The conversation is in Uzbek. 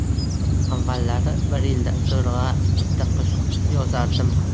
Avvallari bir yilda zo‘rg‘a bitta qo‘shiq yozardim.